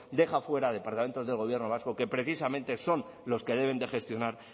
deja fuera de departamentos del gobierno vasco que precisamente son los que deben de gestionar